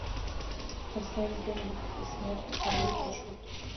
поставь генрих и смерть король и шут